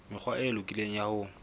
mekgwa e lokileng ya ho